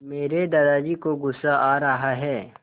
मेरे दादाजी को गुस्सा आ रहा है